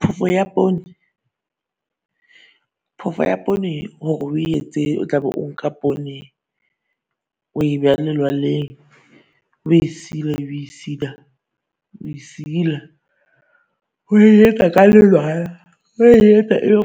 Phofo ya poone Phofo ya poone horo o e etse o tla be o nka poone o e beha lelwaleng o e sila, o e sila, o e sila. O e etsa ka lelwala o e etsa e be o